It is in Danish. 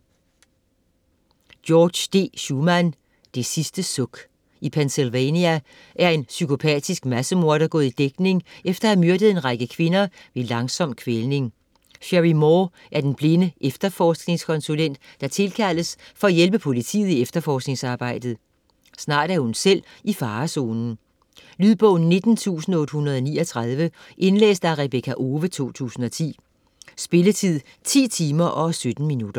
Shuman, George D.: Det sidste suk I Pennsylvania er en psykopatisk massemorder gået i dækning efter at have myrdet en række kvinder ved langsom kvælning. Sherry Moore er den blinde efterforskningskonsulent, der tilkaldes for at hjælpe politiet i efterforskningsarbejdet. Snart er hun selv i farezonen. Lydbog 19839 Indlæst af Rebekka Owe, 2010. Spilletid: 10 timer, 17 minutter.